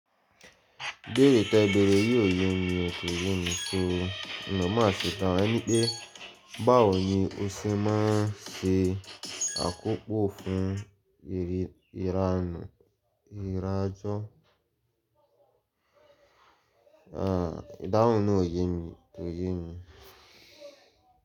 Ibẹ́ẹ̀re tẹ́ẹ́ bẹ̀rẹ̀ yóò yé mi ò, ko ye mi, so má ṣè tàwọn, enípé báwo ni o ṣe máa n ṣe àkópò fún ìrànù ìrajò? Ìdáhùn na ò yé mi, kò yé mi.